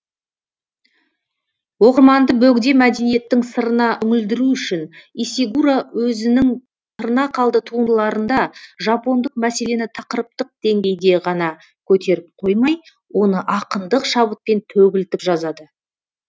оқырманды бөгде мәдениеттің сырына үңілдіру үшін исигуро өзінің тырнақалды туындыларында жапондық мәселені тақырыптық деңгейде ғана көтеріп қоймай оны ақындық шабытпен төгілтіп жазады